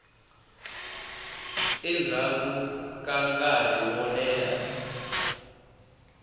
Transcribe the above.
endzhaku ka nkarhi wo leha